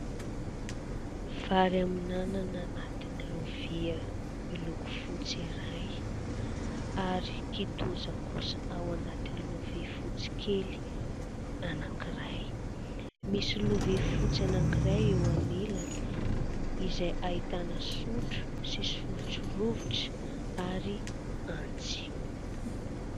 Vary amin'anana anatin'ny lovia miloko fotsy iray ary kitoza kosa ao anaty lovia fotsy kely anankiray. Misy lovia fotsy anankiray eo anilany, izay ahitana sotro sy sotrorovitra ary antsy.